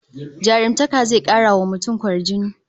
Jarumtaka zai kara wa mutum kwarjini